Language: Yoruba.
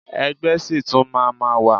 Ẹgbẹ́ ṣì tún máa ma wà.